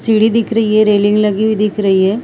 सीढ़ी दिख रही है रेलिंग लगी हुई दिख रही हैं ।